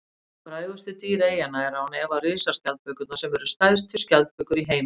frægustu dýr eyjanna eru án efa risaskjaldbökurnar sem eru stærstu skjaldbökur í heimi